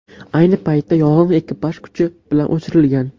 Ayni paytda yong‘in ekipaj kuchi bilan o‘chirilgan.